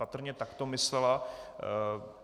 Patrně tak to myslela.